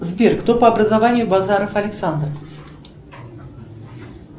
сбер кто по образованию базаров александр